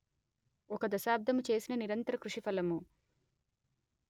ఒకదశాబ్దము చేసిన నిరంతరకృషి ఫలము